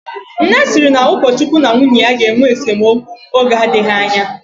Nne sịrị na ukochukwu na nwunye ya ga-enwe esemokwu oge adịghị anya